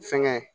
Fɛnkɛ